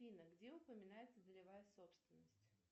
афина где упоминается долевая собственность